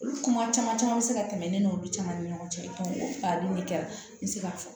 Olu kuma caman caman bɛ se ka tɛmɛ ne n'olu caman ni ɲɔgɔn cɛ o fali nin de kɛra n bɛ se k'a fɔ